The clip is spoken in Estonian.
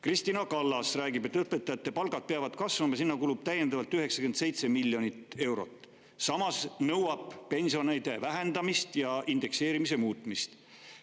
Kristina Kallas räägib, et õpetajate palgad peavad kasvama, sinna kulub veel 97 miljonit eurot, samas nõuab ta pensionide vähendamist ja indekseerimise muutmist.